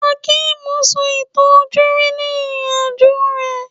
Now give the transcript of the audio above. Hakeem sọ ìtàn ojúrí ni ìrìn-àjò rẹ̀